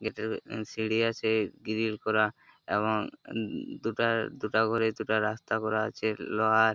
এদেরএ সিঁড়ি আছে গ্রিল করা এবং দুটা দুটা করে রাস্তা করা আছে লোহার ।